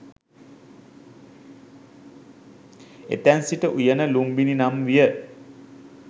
එතැන් සිට උයන ලුම්බිණි නම් විය.